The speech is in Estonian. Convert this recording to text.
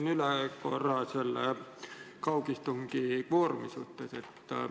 Ma küsin korra üle selle kaugistungi kvoorumi kohta.